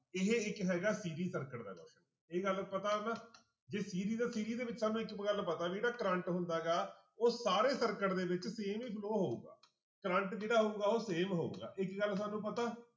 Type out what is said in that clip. ਇਹ ਇੱਕ ਹੈਗਾ circuit ਦਾ ਇਹ ਗੱਲ ਪਤਾ ਨਾ ਜੇ ਦੇ ਵਿੱਚ ਸਾਨੂੰ ਇੱਕ ਗੱਲ ਪਤਾ ਵੀ ਜਿਹੜਾ ਕਰੰਟ ਹੁੰਦਾ ਗਾ ਉਹ ਸਾਰੇ circuit ਦੇ ਵਿੱਚ same ਹੀ flow ਹੋਊਗਾ ਕਰੰਟ ਜਿਹੜਾ ਹੋਊਗਾ ਉਹ same ਹੋਊਗਾ ਇੱਕ ਗੱਲ ਸਾਨੂੰ ਪਤਾ